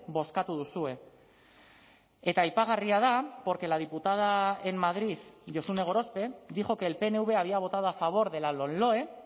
bozkatu duzue eta aipagarria da porque la diputada en madrid josune gorospe dijo que el pnv había votado a favor de la lomloe